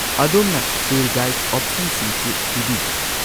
ꯑꯗꯣꯝꯅ tour guide ꯑꯣꯞꯁꯟꯁꯤꯡꯁꯨ ꯄꯤꯕꯤꯕ꯭ꯔꯥ?